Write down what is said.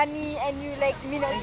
ukuvala kwamafu